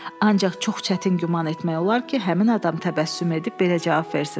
Ancaq çox çətin güman etmək olar ki, həmin adam təbəssüm edib belə cavab versin.